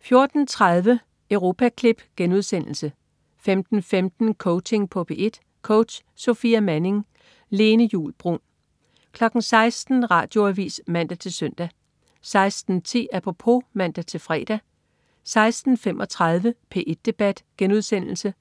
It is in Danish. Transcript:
14.30 Europaklip* 15.15 Coaching på P1. Coach: Sofia Manning. Lene Juul Bruun 16.00 Radioavis (man-søn) 16.10 Apropos (man-fre) 16.35 P1 Debat* (man-fre)